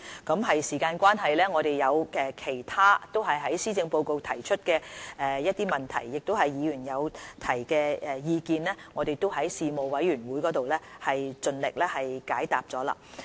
由於時間關係，其他在施政報告提出的政策及議員的問題、意見，我們已在立法會事務委員會盡力解答。